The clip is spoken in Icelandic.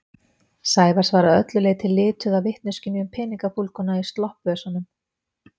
Sævars var að öllu leyti lituð af vitneskjunni um peningafúlguna í sloppvösunum.